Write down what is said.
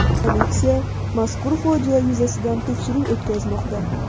Politsiya mazkur fojia yuzasidan tekshiruv o‘tkazmoqda.